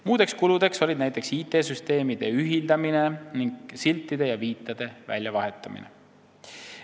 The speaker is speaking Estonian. Muud kulud olid näiteks IT-süsteemide ühildamine ning siltide ja viitade väljavahetamine.